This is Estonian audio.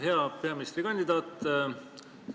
Hea peaministrikandidaat!